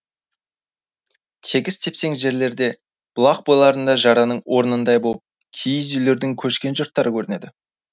тегіс тепсең жерлерде бұлақ бойларында жараның орнындай болып киіз үйлердің көшкен жұрттары көрінеді